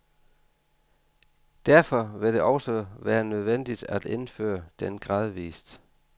Derfor vil det også være nødvendigt at indføre den gradvist.